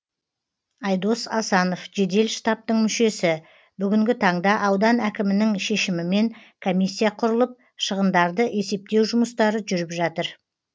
айдос асанов жедел штабтың мүшесі бүгінгі таңда аудан әкімінің шешімімен комиссия құрылып шығындарды есептеу жұмыстары жүріп жатыр